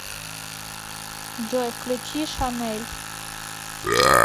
джой включи шанэль